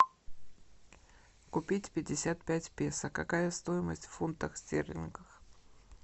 купить пятьдесят пять песо какая стоимость в фунтах стерлингах